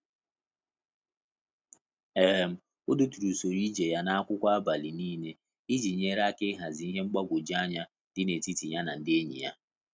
um O deturu usoro ije ya na akwụkwọ abalị n'ile iji nyere ya aka ịhazi ihe mgbagwoju anya dị na etiti ya na ndị enyi ya